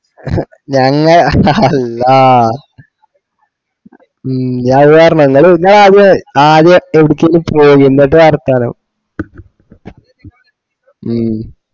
ഞങ് അല്ല ഇനി അത്പറഞ്ഞോ ഇങ്ങൾ ആദ്യം എവടക്കേലും പോക്‌ എന്നിട്ട് വർത്താന ഉം